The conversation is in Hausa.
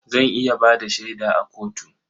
Zan iya ba da shaida a kotu.